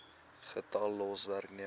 getal los werknemers